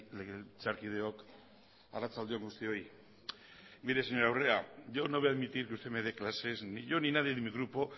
legebiltzarkideok arratsalde on guztioi yo no voy a admitir que usted me dé clases ni yo ni nadie de mi grupo